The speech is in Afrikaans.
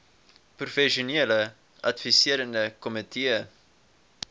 professionele adviserende komitee